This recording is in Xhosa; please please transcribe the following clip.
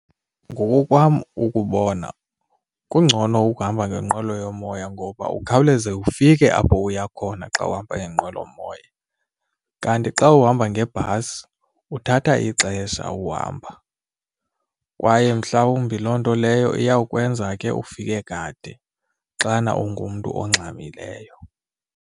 Ngokokwam ukubona kungcono ukuhamba ngenqwelo yomoya ngoba ukhawuleze ufike apho uya khona xa uhamba ngenqwelomoya. Kanti xa uhamba ngebhasi uthatha ixesha uhamba kwaye mhlawumbi loo nto leyo iyawukwenza ke ufike kade xana ungumntu ongxamileyo.